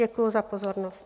Děkuji za pozornost.